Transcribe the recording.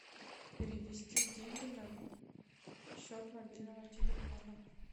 перевести деньги на счет мобильного телефона